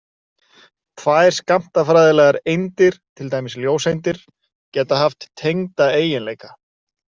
Tvær skammtafræðilegar eindir, til dæmis ljóseindir, geta haft tengda eiginleika.